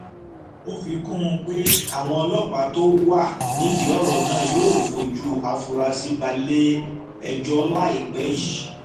ó fi kún un pé àwọn ọlọ́pàá tó wà nídìí ọ̀rọ̀ náà yóò fojú àfúrásì balẹ̀ẹ́jọ́ láìpẹ́ yìí